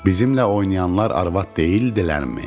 Bizimlə oynayanlar arvad deyildilərmi?